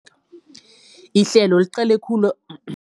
Ihlelo liqale khulu